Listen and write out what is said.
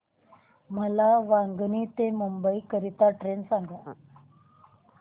मला वांगणी ते मुंबई करीता ट्रेन सांगा